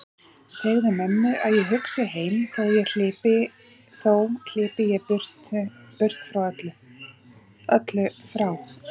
Segðu mömmu að hugsi ég heim þó hlypi ég burt öllu frá.